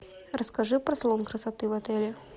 расскажи про салон красоты в отеле